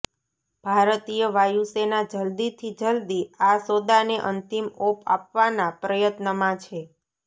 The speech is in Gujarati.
ભારતીય વાયુસેના જલદીથી જલદી આ સોદાને અંતિમ ઓપ આપવાનાં પ્રયત્નમાં છે